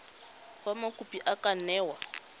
fa mokopi a ka newa